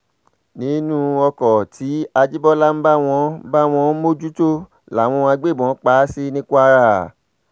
nínú oko tí àjíbólà ń bá ń bá wọn mójútó làwọn agbébọn pa á sí ní kwara